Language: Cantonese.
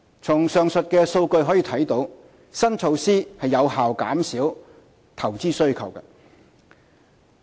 從上述數據可見，新措施有效減少投資需求。